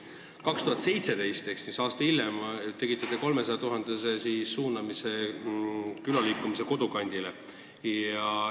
2017 ehk aasta hiljem suunasite te 300 000 eurot MTÜ-le Eesti Külaliikumine Kodukant.